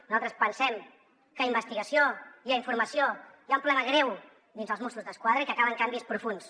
nosaltres pensem que a investigació i a informació hi ha un problema greu dins els mossos d’esquadra i que calen canvis profunds